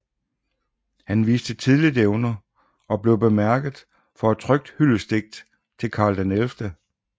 Han viste tidligt evner og blev bemærket for et trykt hyldestdigt til Karl XI